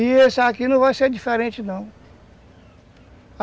E esse aqui não vai ser diferente, não.